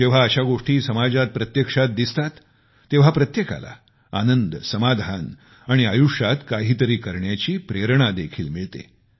जेव्हा अशा गोष्टी समाजात प्रत्यक्षात दिसतात तेव्हा प्रत्येकाला आनंद समाधान मिळते आणि आयुष्यात काहीतरी करण्याची प्रेरणा देखील मिळते